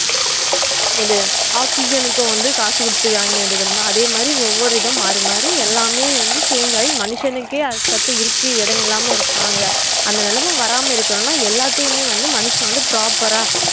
இத oxygen க்கும் வந்து காசு குடுத்து வாங்கவேண்டியது தெர்யுமா அதே மாரி ஒவ்வொரு இத மாரி மாரிஎல்லாமே change ஆகி மனுஷனுக்கே அதுகடுத்து இடம் இல்லாம இருபாங்க அந்த நெலமை வராம இருக்கணும்னா எல்லாத்தையுமே மனுஷங்க வந்து proper ஆஹ்